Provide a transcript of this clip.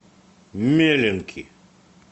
меленки